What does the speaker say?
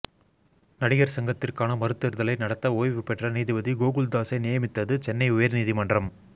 நடிகர் சங்கத்திற்கான மறுதேர்தலை நடத்த ஓய்வுபெற்ற நீதிபதி கோகுல் தாஸை நியமித்தது சென்னை உயர்நீதிமன்றம்